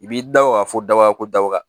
I b'i da o ka fɔ daba ko daba